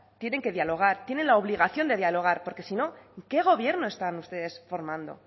tienen que dialogar tienen la obligación de dialogar porque si no qué gobierno están ustedes formando